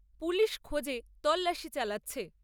Police খোঁজে তল্লাশি চালাচ্ছে।